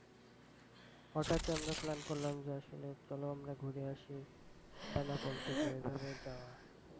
হঠাৎ ই আমরা plan করলাম যে আসলে চলো আমরা ঘুরে আসি বেনাপোল থেকে। এইভাবে যাওয়া